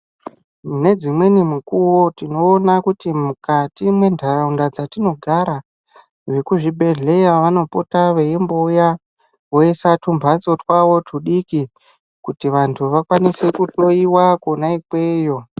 Nedzimweni mukuwo tinoona kuti mukati mwentaraunda dzatinogara vekuzibhedhleya vanopota veimbouya voise tumbatso twaavo tudiki kuti vantu vakwanise kuhloyiwa kona ikweyo.